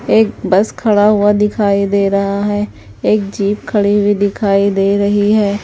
एक बस खड़ा हुआ दिखाई दे रहा है एक जीप खड़ी हुई दिखाई दे रही है।